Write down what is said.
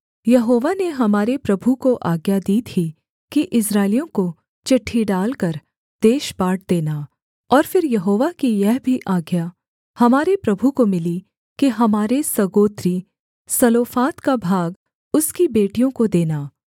यहोवा ने हमारे प्रभु को आज्ञा दी थी कि इस्राएलियों को चिट्ठी डालकर देश बाँट देना और फिर यहोवा की यह भी आज्ञा हमारे प्रभु को मिली कि हमारे सगोत्री सलोफाद का भाग उसकी बेटियों को देना